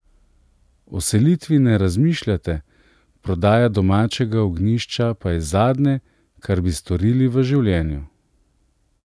O selitvi ne razmišljate, prodaja domačega ognjišča pa je zadnje, kar bi storili v življenju.